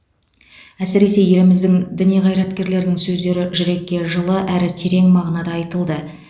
әсіресе еліміздің діни қайраткерлерінің сөздері жүрекке жылы әрі терең мағынада айтылды